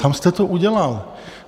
Tam jste to udělal.